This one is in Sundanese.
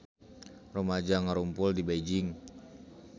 Rumaja ngarumpul di Beijing